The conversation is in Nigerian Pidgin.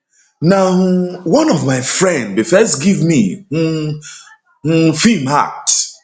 na um one of my friend bin first give me um um feem act